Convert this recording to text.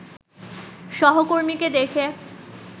সহকর্মীকে দেখে